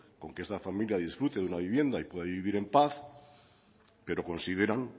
con que esta familia disfrute de una vivienda y pueda vivir en paz pero consideran